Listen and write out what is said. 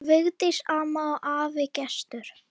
Vigdís amma og afi Gestur.